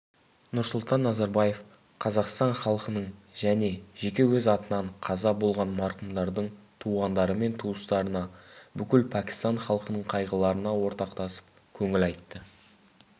нұрсұлтан назарбаев қазақстан халқының және жеке өз атынан қаза болған марқұмдардың туғандары мен туыстарына бүкіл пәкістан халқының қайғыларына ортақтасып көңіл айтты